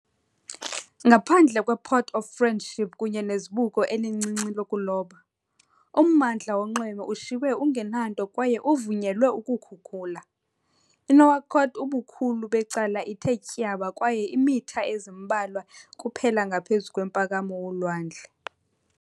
Ngaphandle kwePort of Friendship kunye nezibuko elincinci lokuloba, ummandla wonxweme ushiywe ungenanto kwaye uvunyelwe ukukhukula. INouakchott ubukhulu becala ithe tyaba kwaye iimitha ezimbalwa kuphela ngaphezu komphakamo wolwandle.